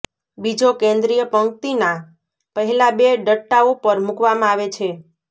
બીજો કેન્દ્રિય પંક્તિના પહેલા બે ડટ્ટાઓ પર મૂકવામાં આવે છે